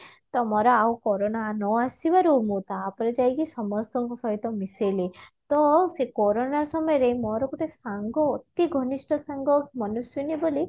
ତ ମୋର ଆଉ କୋରୋନା ନ ଆସିବାରୁ ମୁଁ ତାପରେ ଯାଇକି ସମସ୍ତଙ୍କ ସହିତ ମିଶେଇଲେ ତ ସେ କୋରୋନା ସମୟରେ ମୋର ଗୋଟେ ସାଙ୍ଗ ଅତି ଘନିଷ୍ଟ ସାଙ୍ଗ ମନସ୍ଵନି ବୋଲି